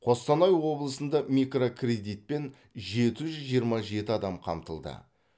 қостанай облысында микрокредитпен жеті жүз жиырма жеті адам қамтылды